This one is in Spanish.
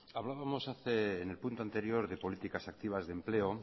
hablábamos en el punto anterior de políticas activas de empleo